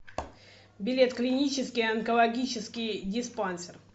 билет клинический онкологический диспансер